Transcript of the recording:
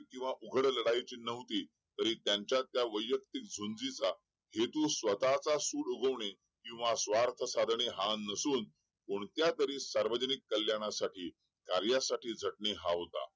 किंवा उघड लढाईची न्हवती तरी त्यांच्यातल्या वयक्तिक झुंजीचा हेतू स्वतःचा सूड उगवणे किंवा स्वार्थ साधने हा नसून कोणत्या तरी सार्वजनिक कल्याणासाठी कार्यासाठी झटणे हा होता